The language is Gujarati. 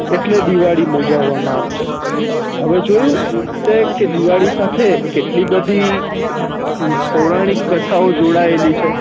એટલે દિવાળી ઉજવવા મા આવે છે હવે જોયુતે કે દિવાળી સાથે કેટલી બધી પૌરાણિક કેથાઓ જોડાયેલી છે